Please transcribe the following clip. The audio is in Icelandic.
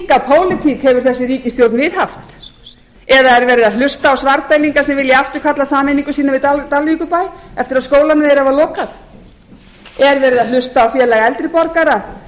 pólitík hefur þessi ríkisstjórn viðhaft eða er verið að hlusta á svarfdælinga sem vilja afturkalla sameiningu sína við dalvíkurbæ eftir að skólanum þeirra var lokað er verið að hlusta á félag eldri borgara